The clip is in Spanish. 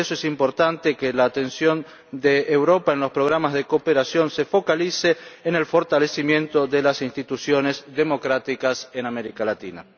Por eso es importante que la atención de Europa en los programas de cooperación se focalice en el fortalecimiento de las instituciones democráticas en América Latina.